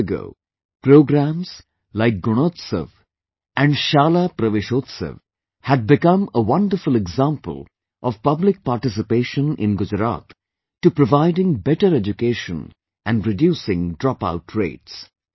Years ago, programs like 'Gunotsav and Shala Praveshotsav' had become a wonderful example of public participation in Gujarat to providing better education and reducing dropout rates